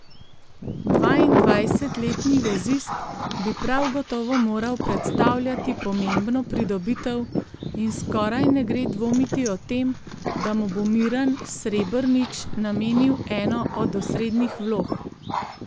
Dvaindvajsetletni vezist bi prav gotovo moral predstavljati pomembno pridobitev in skoraj ne gre dvomiti o tem, da mu bo Miran Srebrnič namenil eno od osrednjih vlog.